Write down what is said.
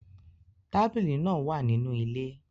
Tabili naa wa ninu ile